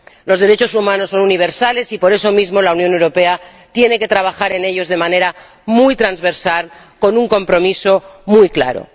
Los derechos humanos son universales y, por eso mismo, la Unión Europea tiene que trabajar en ellos de manera muy transversal, con un compromiso muy claro.